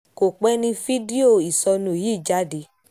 kò pẹ́ ní fídíò ìṣọ́nú yìí jáde